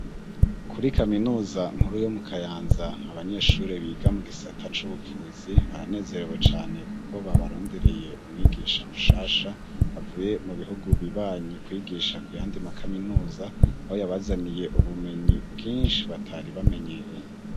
Kuri kaminuza nkuru yo mu Kayanza, abanyeshuri biga mu gisata c'ubuvuzi baranezerewe cane; kuko babarondereye umwigisha mushasha avuye mu bihugu bibanyi kwigisha kuyandi ma kaminuza; aho yabazaniye ubumenyi bwinshi batari bamenyereye.